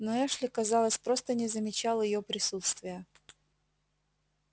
но эшли казалось просто не замечал её присутствия